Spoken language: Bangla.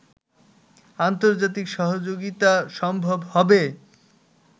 আন্তর্জাতিক সহযোগিতা সম্ভব হবে